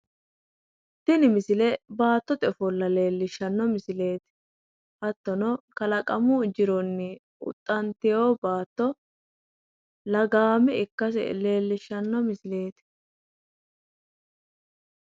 Tini misile baattote ofolla leellishshanno misileeti. Hattono kalaqamu jironni huxxantewo baatto lagaame ikkase leellishshanno misileeti.